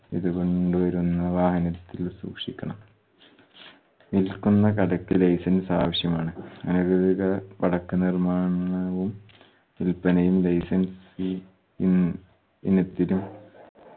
ഇത് കൊണ്ടുവരുന്ന വാഹനത്തിൽ സൂക്ഷിക്കണം. വിൽക്കുന്ന കടക്ക് license ആവശ്യമാണ്. അനധികൃത പടക്ക നിർമാണവും വിൽപ്പനയും license ഇ ഇൻ ഇനെതിരും